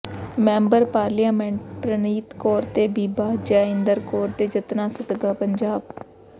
member parliament Preneet Kaur ਤੇ ਬੀਬਾ ਜੈ ਇੰਦਰ ਕੌਰ ਦੇ ਯਤਨਾ ਸਦਕਾ ਪੰਜਾਬ